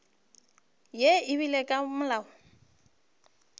ye e beilwego ke molao